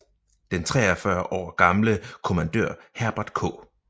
Den 43 år gamle kommandør Herbert K